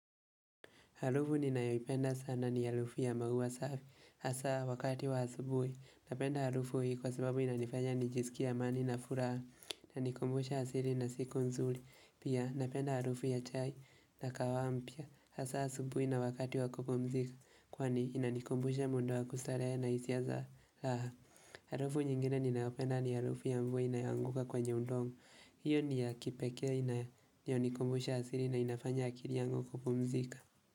Harufu ninayoipenda sana ni harufu ya maua safi, hasa wakati wa asubuhi. Napenda harufu hii, kwa sababu inanifanya nijisikie amani na furaha, ina nikumbusha asili na siku nzuri. Pia, napenda harufu ya chai na kahawa mpya, hasa asubuhi na wakati wa kupumzika, kwani inanikumbusha muda wa kustarehe na hisia za raha. Harufu nyingine ninayopenda ni harufu ya mvua imeanguka kwenye udongo, hiyo ni ya kipekee inayonikumbusha asili na inafanya akiri yangu kupumzika.